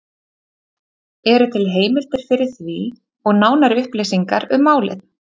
Eru til heimildir fyrir því og nánari upplýsingar um málið?